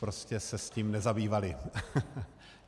Prostě se s tím nezabývali.